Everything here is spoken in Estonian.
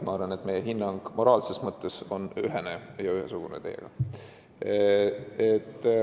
Ma arvan, et meie mõlema hinnang on moraalses mõttes ühesugune.